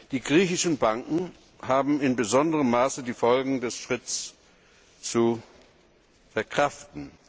Die griechischen Banken haben in besonderem Maße die Folgen des Schnitts zu verkraften.